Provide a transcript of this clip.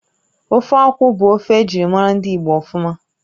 Ofe akwụ bụ ofe ejirimara ndị Igbo ofuma